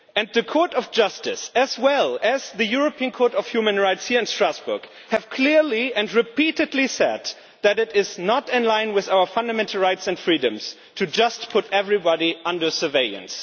The Court of Justice, as well as the European Court of Human Rights here in Strasbourg, has clearly and repeatedly said that it is not in line with our fundamental rights and freedoms to just put everybody under surveillance.